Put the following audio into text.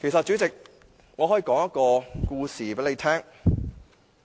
主席，我可以跟你說一個故事。